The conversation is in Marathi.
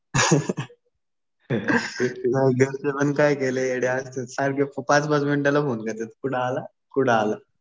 घरचे पण काही काही लय येडे असते. सारखे पाच पाच मिनिटाला फोन करतात. कुठं आला? कुठं आला?